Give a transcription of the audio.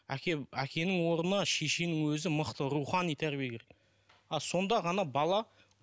әке әкенің орнына шешенің өзі мықты рухани тәрбие керек ал сонда ғана бала